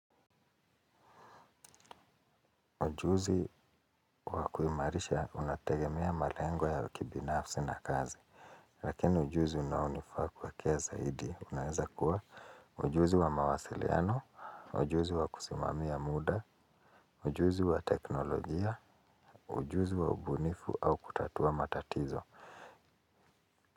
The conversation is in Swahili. Ujuzi wa kuimarisha unategemea malengo ya kibinafsi na kazi. Lakini ujuzi unaonifaa kwa kia zaidi. Unaweza kuwa ujuzi wa mawasiliano, ujuzi wa kusimamia muda, ujuzi wa teknolojia, ujuzi wa ubunifu au kutatua matatizo.